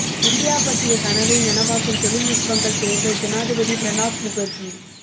India பற்றிய கனவை நனவாக்கும் தொழில்நுட்பங்கள் தேவை ஜனாதிபதி பிரணாப் முகர்ஜி